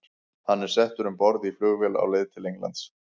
Hann er settur um borð í flugvél á leið til Englands.